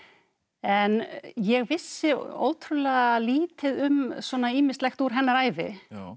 en ég vissi ótrúlega lítið um svona ýmislegt úr hennar ævi